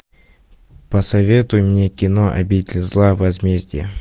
посоветуй мне кино обитель зла возмездие